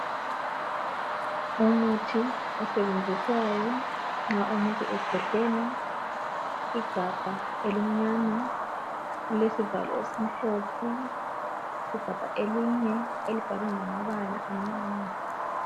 Umuthi osetshenziswayo nxa umuntu ekhwehlela. Igabha elimnyama, lilesivalo esimhlophe, elinye libhalwe ngamabala amnyama.